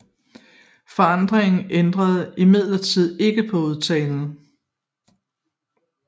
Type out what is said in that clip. Forandringen ændrede imidlertid ikke på udtalen